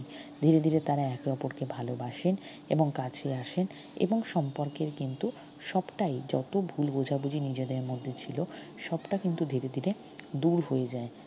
ধীরে ধীরে তারা একে অপরকে ভালবাসেন এবং কাছে আসেন এবং সম্পর্কের কিন্তু সবটাই যত ভুল বোঝাবুঝি নিজেদের মধ্যে ছিল সবটা কিন্তু ধীরে ধীরে দুর হয়ে যায়।